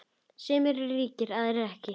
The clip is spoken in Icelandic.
Sumir eru ríkir, aðrir ekki.